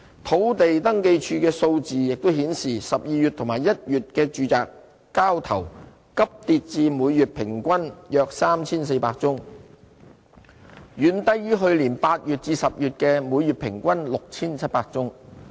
土地註冊處數字亦顯示 ，12 月及1月的住宅交投急跌至每月平均約 3,400 宗，遠低於去年8月至10月的每月平均 6,700 宗。